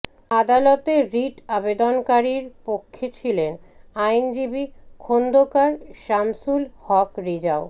আদালতে রিট আবেদনকারীর পক্ষে ছিলেন আইনজীবী খোন্দকার শামসুল হক রেজা ও